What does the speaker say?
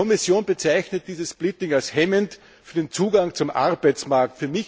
Die Kommission bezeichnet dieses Splitting als hemmend für den Zugang zum Arbeitsmarkt.